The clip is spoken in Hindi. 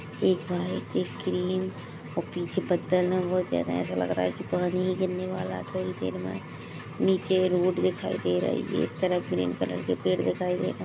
एक व्हाइट एक क्रीम और पीछे बदल है बोत ज्यादा है एसा लग रहा है पानी ही गिरने वाला है थोड़ी देर मे नीचे एक रोड दिखाई दे रही है एक तरफ ग्रीन कलर के पेड़ दिखाई दे रहे है।